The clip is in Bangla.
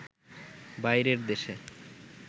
বাইরের দেশে